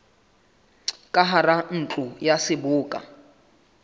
ka hara ntlo ya seboka